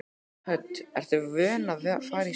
Hödd: Ertu vön að fara í sjósund?